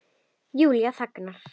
Júlía þagnar.